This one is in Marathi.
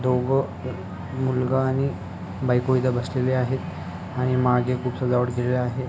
दोघं मुलगा आणि बायको इथे बसलेले आहेत आणि मागे खूप सजावट केलेली आहे.